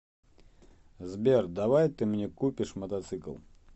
сбер давай ты мне купишь мотоцикл